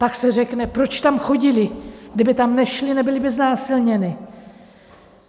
Pak se řekne, proč tam chodily, kdyby tam nešly, nebyly by znásilněny.